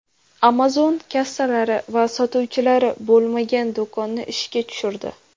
Amazon kassalari va sotuvchilari bo‘lmagan do‘konni ishga tushirdi.